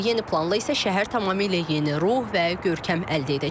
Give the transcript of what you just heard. Yeni planla isə şəhər tamamilə yeni ruh və görkəm əldə edəcək.